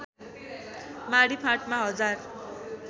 माडी फाँटमा हजार